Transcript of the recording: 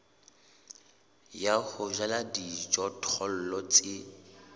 ya ho jala dijothollo tse